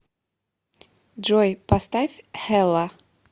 джой поставь хелла